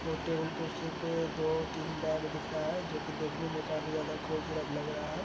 अ table कुर्सी पे दो-तीन बैग दिख रहा है जो कि देखने में काफी ज़्यादा खूबसूरत लग रहा है।